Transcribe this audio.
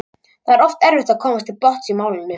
Því er oft erfitt að komast til botns í málinu.